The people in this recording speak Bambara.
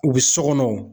U bɛ so kɔnɔ